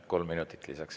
Kolm minutit lisaks.